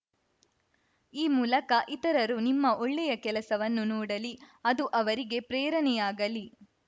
ಈ ಮೂಲಕ ಇತರರು ನಿಮ್ಮ ಒಳ್ಳೆಯ ಕೆಲಸವನ್ನು ನೋಡಲಿ ಅದು ಅವರಿಗೆ ಪ್ರೇರಣೆಯಾಗಲಿ